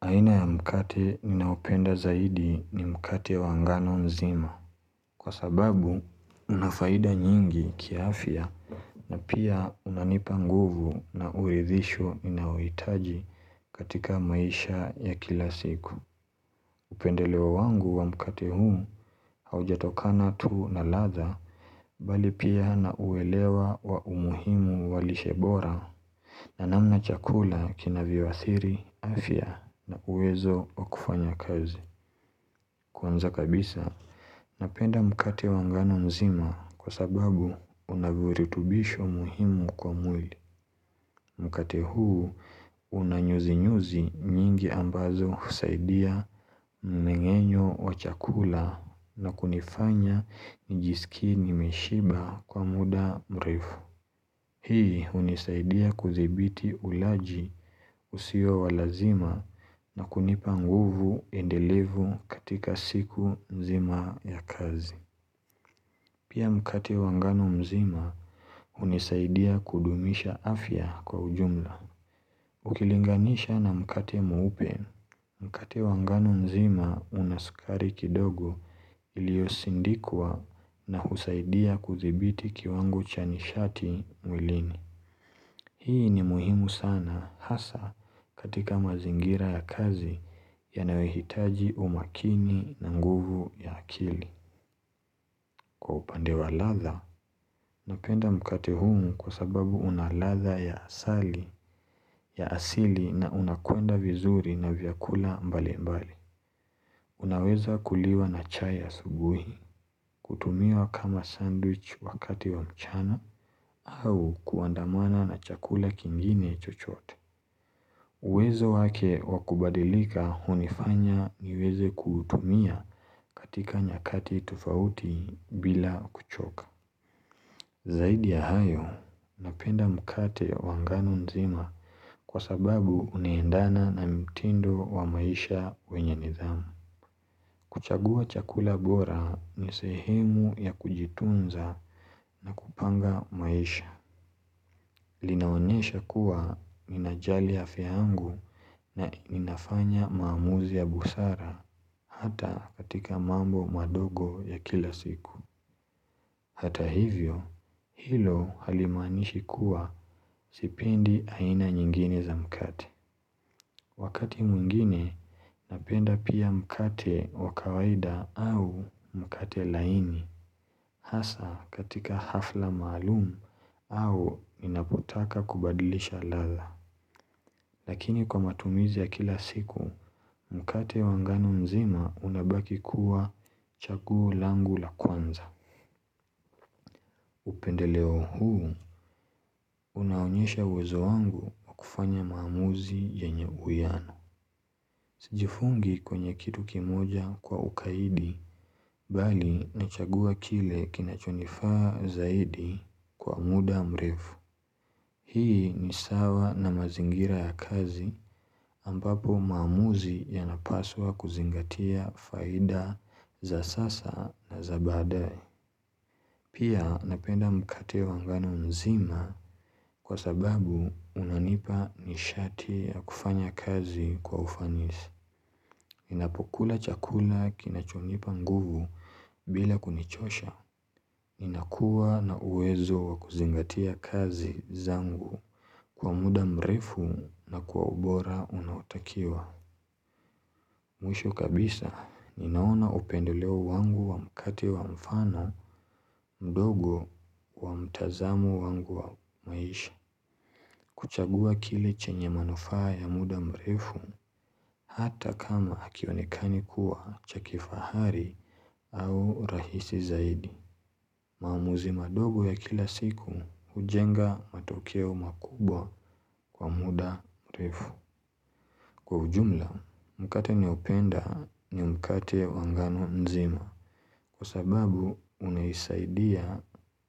Aina ya mkate ninayopenda zaidi ni mkate wangano nzima Kwa sababu unafaida nyingi kiafya na pia hunanipa nguvu na uridhisho ninayouitaji katika maisha ya kila siku Upendelewa wangu wa mkate huu Haujatokana tu na ladha Bali pia na uelewa wa umuhimu walishebora na namna chakula kina vyo a thiri afya na uwezo wa kufanya kazi Kwanza kabisa, napenda mkate wangano mzima kwa sababu unavuritubisho muhimu kwa mwili. Mkate huu unanyuzi-nyuzi nyingi ambazo husaidia mmengenyo wa chakula na kunifanya njiskie ni meshiba kwa muda mrefu. Hii unisaidia kudhibiti ulaji usio walazima na kunipanguvu endelevu katika siku mzima ya kazi. Pia mkate wangano mzima unisaidia kudumisha afya kwa ujumla. Ukilinganisha na mkati mweupe mkati wangano mzima unaskari kidogo iliosindikwa na husaidia kudhibiti kiwango chanishati mwilini. Hii ni muhimu sana hasa katika mazingira ya kazi ya nayohitaji umakini na nguvu ya akili Kwa upande wa ladha, napenda mkate humu kwa sababu una ladha ya asali ya asili na unakuenda vizuri na vyakula mbali mbali Unaweza kuliwa na chai a subuhi, kutumiwa kama sandwich wakati wa mchana au kuandamana na chakula kingine chochoote uWezo wake wakubadilika hunifanya niweze kutumia katika nyakati tofauti bila kuchoka Zaidi ya hayo napenda mkate wangano nzima kwa sababu unaendana na mtindo wa maisha wenye nidhamu kuchagua chakula bora ni sehemu ya kujitunza na kupanga maisha Linaonesha kuwa ninajali afya yfiangu na ninafanya maamuzi ya busara hata katika mambo madogo ya kila siku Hata hivyo, hilo halimaanishi kuwa sipendi aina nyingine za mkate Wakati mwingine, napenda pia mkate wakawaida au mkate laini Hasa katika hafla maalumu au ninapotaka kubadilisha ladha Lakini kwa matumizi ya kila siku, mkate wanga ngano mzima unabaki kuwa chaguo langu la kwanza. Upendeleo huu, unaonyesha uwezo wangu wa kufanya maamuzi ye nye uwiano. Sijifungi kwenye kitu kimoja kwa ukaidi, bali na chagua kile kinachonifaa zaidi kwa muda mrefu. Hii ni sawa na mazingira ya kazi ambapo maamuzi yanapaswa kuzingatia faida za sasa na za badae. Pia napenda mkate wangano nzima kwa sababu unanipa nishati ya kufanya kazi kwa ufanisi. Ninapokula chakula kinachonipa nguvu bila kunichosha. Ninakuwa na uwezo wakuzingatia kazi zangu kwa muda mrefu na kwa ubora unaotakiwa. Mwisho kabisa, ninaona upendeleo wangu wa mkate wa mfano mdogo wa mtazamo wangu wa maisha. Kuchagua kile chenye manufaa ya muda mrefu hata kama hakionekani kuwa cha kifahari au rahisi zaidi. Maamuzi madogo ya kila siku hujenga matokeo makubwa kwa muda mrefu. Kwa ujumla, mkate ninaopenda ni mkate wangano nzima kwa sababu unaisaidia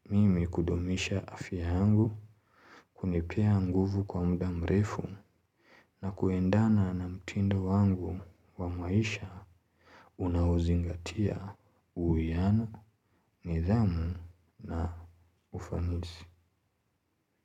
mimi kudumisha afya yangu kunipea nguvu kwa muda mrefu na kuendana na mtindo wangu wa maisha unaozingatia uwiano, nidhamu na ufanisi.